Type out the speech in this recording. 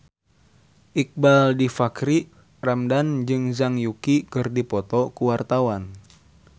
Iqbaal Dhiafakhri Ramadhan jeung Zhang Yuqi keur dipoto ku wartawan